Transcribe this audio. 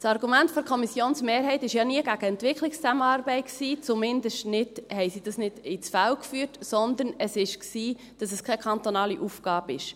Das Argument der Kommissionsmehrheit war ja nie gegen die Entwicklungszusammenarbeit, zumindest haben sie das nicht ins Feld geführt, sondern es war, dass es keine kantonale Aufgabe sei.